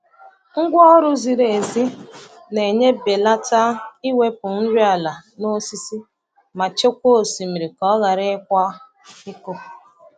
Ngwa ọrụ ziri ezi na-enye belata iwepụ nri ala n'osisi ma chekwaa osimiri ka ọ ghara ịkwa iko.